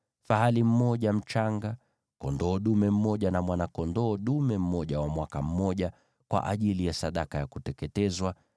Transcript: fahali mmoja mchanga, kondoo dume mmoja na mwana-kondoo dume mmoja wa mwaka mmoja, kwa ajili ya sadaka ya kuteketezwa;